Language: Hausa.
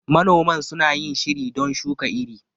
Manoman suna yin shiri don shuka iri.